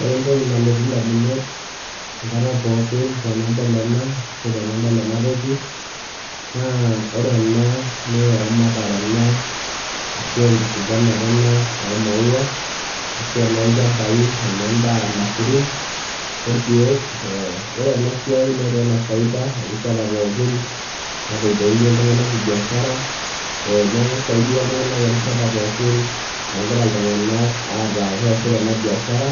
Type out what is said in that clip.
ore entoki nalotu damunot enkata pookin tenadol ena ashu tenadol ena toki, naa ore ena naa eramatare ena, ashu enkifuganta ena oo maua, ashu enoolchampai, ene daa, ilmasurin orkeek, ore ena siai netaa ene faida erishata pookin, neilepunye iltung'anak kibiashara, neeku isaidia iltung'ank erishata pookin, nagira iltung'ank aata keesita ena biashara.